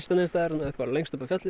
neinsstaðar lengst upp á fjalli